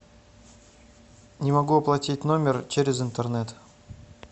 не могу оплатить номер через интернет